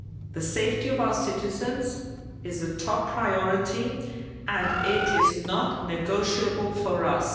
The safety of our citizens is a top priority and it is not negotiable for us.